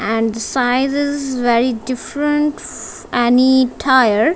and sizes very different any tire.